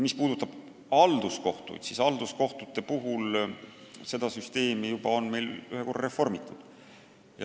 Mis puudutab halduskohtuid, siis seda süsteemi on ühe korra juba reformitud.